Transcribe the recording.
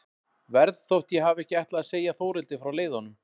Verð þótt ég hafi ekki ætlað að segja Þórhildi frá leiðanum.